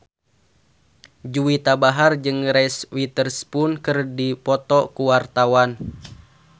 Juwita Bahar jeung Reese Witherspoon keur dipoto ku wartawan